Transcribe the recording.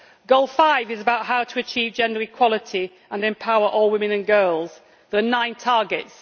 Goal 5 is about how to achieve gender equality and empower all women and girls, and there are nine targets.